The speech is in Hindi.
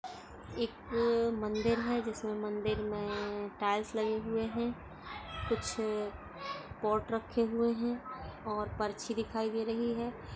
एक मंदिर है जिसमे मंदिर मे टाइल्स लगे हुए है कुछ पॉट रखे हुए है और परछी दिखाई दे रही है।